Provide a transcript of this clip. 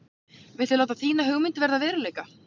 Viltu láta þína hugmynd verða að veruleika?